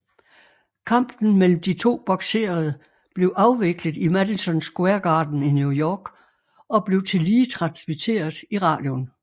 Kampen mellem de to bokserede blev afviklet i Madison Square Garden i New York og blev tillige transmitteret i radioen